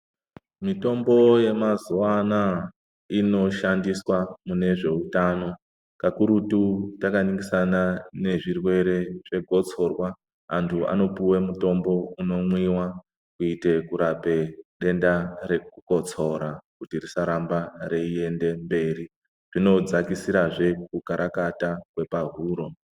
Mitombo yemazuwa anaa inoshandiswa mune zveutano, kakurutu takaningisana nezvirwere zvegotsorwa. Antu anopuwe mutombo unomwiwa kuite kurape denda rekukotsora kuti risaramba reiende mberi. Zvinodzakisirazve kukarakata kwepahuro.